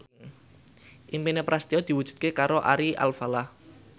impine Prasetyo diwujudke karo Ari Alfalah